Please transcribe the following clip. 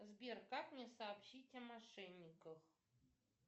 сбер как мне сообщить о мошенниках